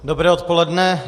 Dobré odpoledne.